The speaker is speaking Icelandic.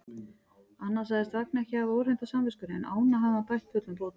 Annað sagðist Vagn ekki hafa óhreint á samviskunni, en ána hafði hann bætt fullum bótum.